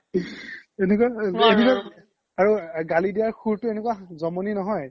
আৰু গালি দিয়াৰ সুৰতো এনেকুৱা জ্মনি নহয়